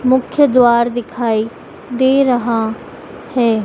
मुख्य द्वार दिखाई दे रहा है।